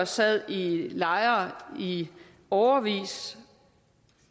sad i lejre i årevis